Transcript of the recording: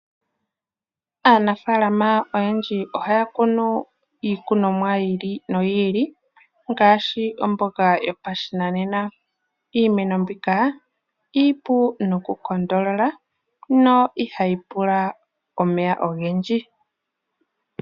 Aanafaalama oyendji ohaa kunu iikunomwa yi ili no yi ili ngaashi omboga yopashinanena. Iimeno mbika iipu noku tonatela yo ihayi pula omeya ogendji.